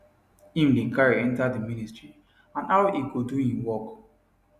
im dey carry enta di ministry and how im go do im work